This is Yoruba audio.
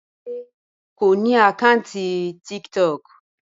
Bímpé kò ní àkáǹtì TikTok